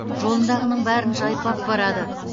жолындағының бәрін жайпап барады